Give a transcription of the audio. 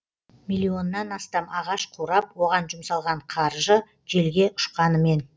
миллионнан астам ағаш қурап оған жұмсалған қаржы желге ұшқанымен